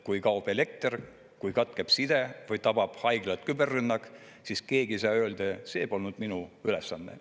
Kui kaob elekter, kui katkeb side või tabab haiglat küberrünnak, siis keegi ei saa öelda, et see polnud minu ülesanne.